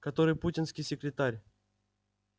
который путинский секретарь